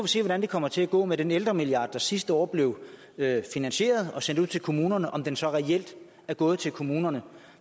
se hvordan det kommer til at gå med den ældremilliard der sidste år blev finansieret og sendt ud til kommunerne altså om den så reelt er gået til kommunerne